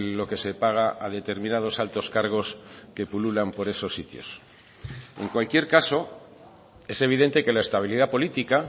lo que se paga a determinados altos cargos que pululan por esos sitios en cualquier caso es evidente que la estabilidad política